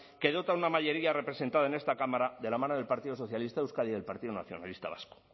que dota de una mayoría representada en esta cámara de la mano del partido socialista de euskadi y del partido nacionalista vasco